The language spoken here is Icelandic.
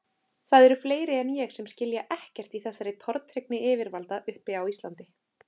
Það eru fleiri en ég sem skilja ekkert í þessari tortryggni yfirvalda uppi á Íslandi.